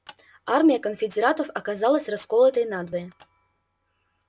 армия конфедератов оказалась расколотой надвое